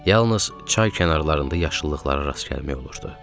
Yalnız çay kənarlarında yaşıllığa rast gəlmək olurdu.